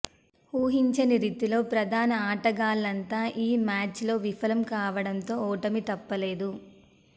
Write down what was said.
ఊహించని రీతిలో ప్రధాన ఆటగాళ్లంతా ఆ మ్యాచ్లో విఫలం కావడంతో ఓటమి తప్పలేదు